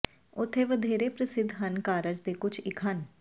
ਉੱਥੇ ਵਧੇਰੇ ਪ੍ਰਸਿੱਧ ਹਨ ਕਾਰਜ ਦੇ ਕੁਝ ਇੱਕ ਹਨ